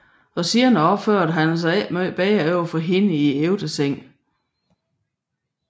Og senere opfører han sig ikke meget bedre over for hende i ægtesengen